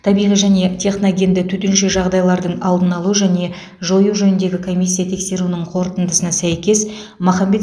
табиғи және техногенді төтенше жағдайлардың алдын алу және жою жөніндегі комиссия тексеруінің қорытындысына сәйкес махамбет